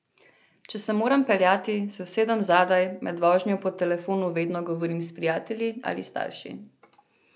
Če se moram peljati, se usedem zadaj, med vožnjo po telefonu vedno govorim s prijatelji ali starši.